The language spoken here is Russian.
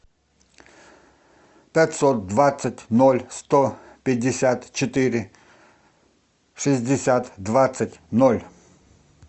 пятьсот двадцать ноль сто пятьдесят четыре шестьдесят двадцать ноль